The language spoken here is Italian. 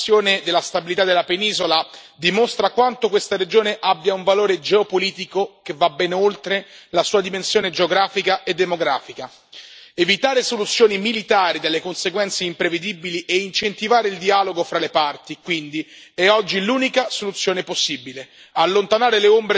Ancora una volta la questione della stabilità della penisola dimostra quanto questa regione abbia un valore geopolitico che va ben oltre la sua dimensione geografica e demografica evitare soluzioni militari dalle conseguenze imprevedibili e incentivare il dialogo fra le parti, quindi, è oggi l'unica soluzione possibile.